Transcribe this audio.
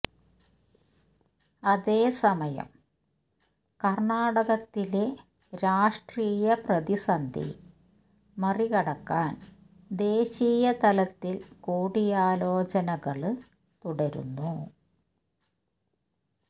അതേസമയം കര്ണാടകത്തിലെ രാഷ്ട്രീയ പ്രതിസന്ധി മറികടക്കാന് ദേശീയ തലത്തില് കൂടിയാലോചനകള് തുടരുന്നു